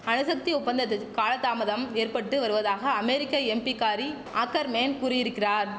அணுசக்தி ஒப்பந்தத்த் காலதாமதம் ஏற்பட்டு வருவதாக அமேரிக்க எம்பிக்காரி ஆக்கர்மேன் கூறியிருக்கிறார்